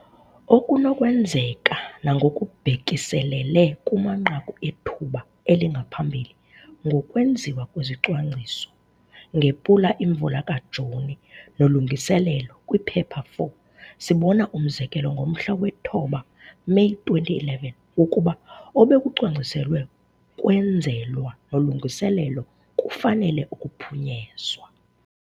Okunokwenzeka nangokubhekiselele kumanqaku ethuba elingaphambili ngokwenziwa kwezicwangciso ngePula Imvula kaJuni, nolungiselelo kwiphepha 4, sibona umzekelo ngomhla we-9 Meyi 2011, wokuba obekucwangciselwe kwenzelwa nolungiselelo kufanele ukuphunyezwa.